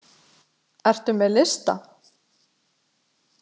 Ertu með lista?